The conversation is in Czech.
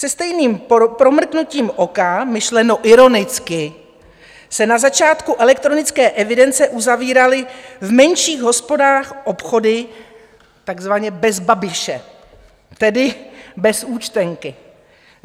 Se stejným promrknutím oka, myšleno ironicky, se na začátku elektronické evidence uzavíraly v menších hospodách obchody takzvaně bez Babiše, tedy bez účtenky.